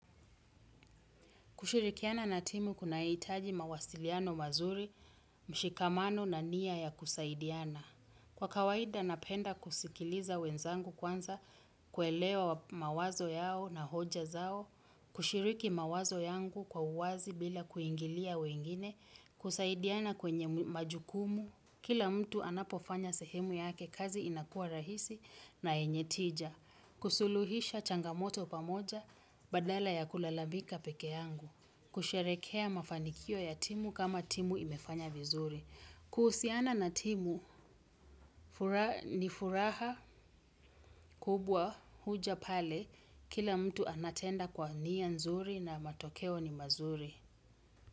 Kushirikiana na timu kunahitaji mawasiliano mazuri, mshikamano na nia ya kusaidiana. Kwa kawaida napenda kusikiliza wenzangu kwanza, kuelewa mawazo yao na hoja zao, kushiriki mawazo yangu kwa uwazi bila kuingilia wengine, kusaidiana kwenye majukumu. Kila mtu anapofanya sehemu yake kazi inakuwa rahisi na yenye tija. Kusuluhisha changamoto pamoja badala ya kulalamika peke yangu. Kusherekea mafanikio ya timu kama timu imefanya vizuri. Kuhusiana na timu ni furaha kubwa huja pale kila mtu anatenda kwa nia nzuri na matokeo ni mazuri.